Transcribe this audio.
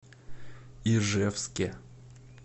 ижевске